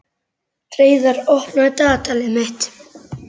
Hreiðar, opnaðu dagatalið mitt.